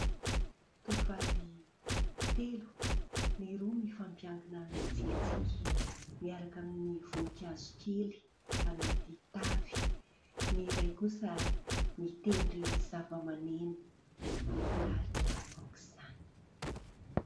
Tovovavy telo, ny roa mifampiankina mitsikitsiky, miaraka amin'ny voninkazo kely anaty tavy ; ny iray kosa mitendry zava-maneno, mahafinaritra aoka izany.